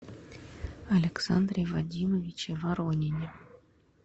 александре вадимовиче воронине